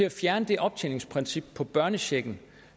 at fjerne det optjeningsprincip for børnechecken